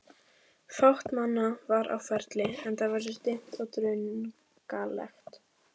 Fátt manna var á ferli, enda veður dimmt og drungalegt.